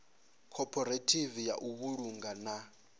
khophorethivi ya u vhulunga na